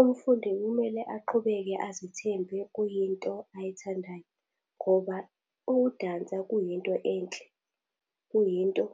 Umfundi kumele aqhubeke azithembe kuyinto ayithandayo. Ngoba ukudansa kuyinto enhle. Kuyinto